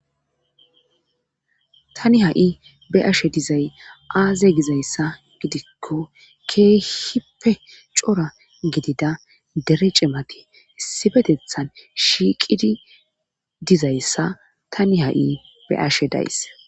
tani ha7i be ashe dizay aaze gizayssa gidikko keehippe cora gidida dere cemati sibetethan shiiqidi dizayssa tani ha7i be ashe days